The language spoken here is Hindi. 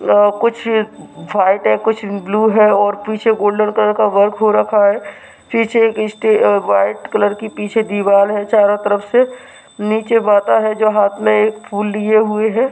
कुछ व्हाइट है कुछ ब्लू है और पीछे गोल्डन कलर का वर्क हो रखा है पीछे एक स्टेज वाइट कलर की पीछे दीवार है चारों तरफ से नीचे माता है जहां हाथ मे एक फूल लिए हुए है।